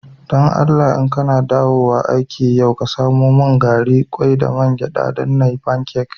Dan Allah, idan ka na dawowa aiki yau ka samo mun gari, kwai, da man gyada dan n'yi pancak.